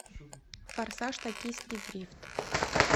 форсаж токийский дрифт